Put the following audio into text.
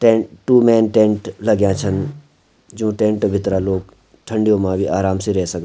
टेंट टू मैंन टेंट लग्याँ छीन जू टेंट भितरा लोग ठंडियों मा भी आराम से रह सकद।